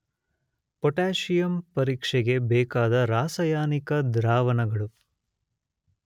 potassium ಪರೀಕ್ಷೆಗೆ ಬೇಕಾದ ರಾಸಾಯನಿಕ ದ್ರಾವಣಗಳು